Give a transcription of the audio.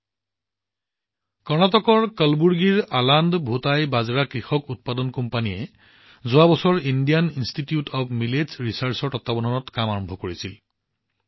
আলান্দ ভূতাই আলান্দ ভুটাই বাজৰা কৃষক উৎপাদক কোম্পানীয়ে যোৱা বছৰ কৰ্ণাটকৰ কালাবুৰ্গীত থকা ইণ্ডিয়ান ইনষ্টিটিউট অব্ মিলেটছ ৰিচাৰ্ছৰ তত্বাৱধানত কাম আৰম্ভ কৰিছিল